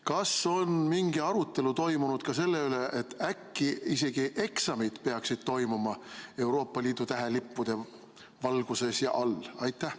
Kas on mingi arutelu toimunud ka selle üle, et äkki isegi eksamid peaksid toimuma Euroopa Liidu tähelippude valguses ja all?